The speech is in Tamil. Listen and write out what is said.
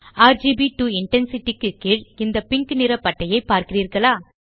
ஆர்ஜிபி டோ இன்டென்சிட்டி க்கு கீழ் இந்த பிங்க் நிற பட்டையை பார்க்கிறீர்களா